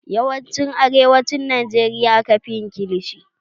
Yawancin a arewacin Najeriya aka fi yin kilishi